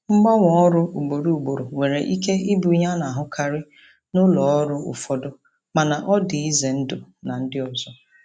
Mgbanwe ọrụ ugboro ugboro nwere ike ịbụ ihe a na-ahụkarị na ụlọ ọrụ ụfọdụ mana ọ dị ize ndụ na ndị ọzọ.